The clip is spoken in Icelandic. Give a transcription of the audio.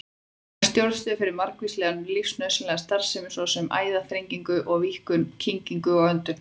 Hann er stjórnstöð fyrir margvíslega lífsnauðsynlega starfsemi, svo sem æðaþrengingu og-víkkun, kyngingu og öndun.